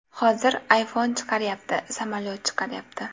Hozir iPhone chiqaryapti, samolyot chiqaryapti.